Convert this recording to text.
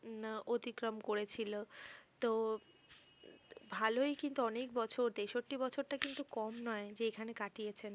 উম অতিক্রম করেছিল তো ভালই কিন্তু অনেক বছর তেষট্টি বছরটা কিন্তু কম নয়, যে এখানে কাটিয়েছেন।